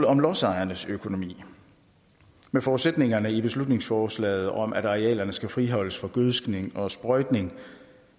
om lodsejernes økonomi med forudsætningerne i beslutningsforslaget om at arealerne skal friholdes for gødskning og sprøjtning